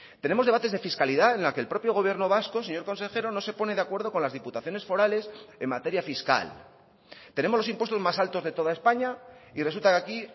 tenemos debates de fiscalidad en la que el propio gobierno vasco señor consejero no se pone de acuerdo con las diputaciones forales en materia fiscal tenemos los impuestos más altos de toda españa y resulta que aquí